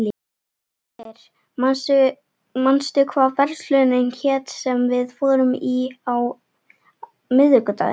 Ægir, manstu hvað verslunin hét sem við fórum í á miðvikudaginn?